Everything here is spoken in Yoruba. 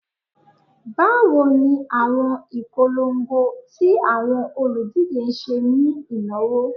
Bawo ni awọn ipolongo ti awọn oludije ṣe ni inawo?